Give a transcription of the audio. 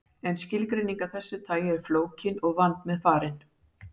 En skilgreining af þessu tagi er flókin og vandmeðfarin.